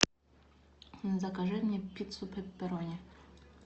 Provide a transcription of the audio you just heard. закажи мне пиццу пепперони